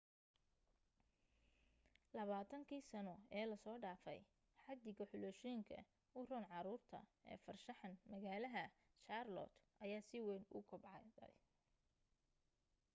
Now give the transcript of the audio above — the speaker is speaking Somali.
20kii sano ee la soo dhaafay xaddiga xulashooyinka u roon caruurta ee farshaxan magaalaha charlotte ayaa si weyn u kobacday